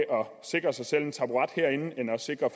sikre sig selv en taburet herinde end at sikre